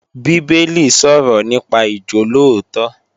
Bíbélì sọ̀rọ̀ nípa ìjólóòtọ́